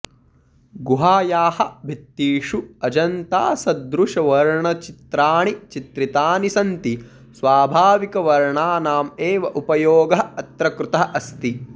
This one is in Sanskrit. गुहायाः भित्तिषु अजन्तासदृशवर्णचित्राणि चित्रितानि सन्ति स्वाभाविकवर्णानामेव उपयोगः अत्र कृतः अस्ति